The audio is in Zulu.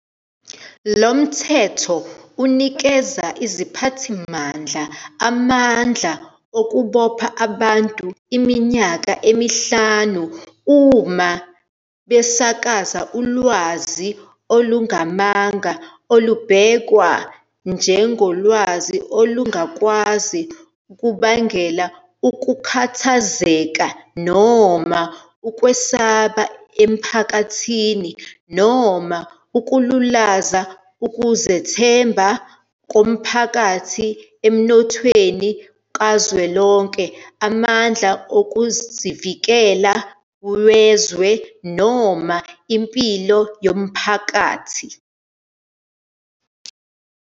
Lo mthetho unikeza iziphathimandla amandla okubopha abantu iminyaka emihlanu uma besakaza ulwazi olungamanga olubhekwa njengolukwazi ukubangela ukukhathazeka noma ukwesaba emphakathini noma ukululaza ukuzethemba komphakathi emnothweni kazwelonke, amandla okuzivikela wezwe, noma impilo yomphakathi.